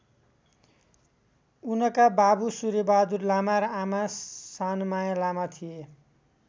उनका बाबु सूर्यबहादुर लामा र आमा सानमाया लामा थिए।